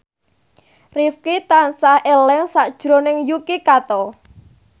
Rifqi tansah eling sakjroning Yuki Kato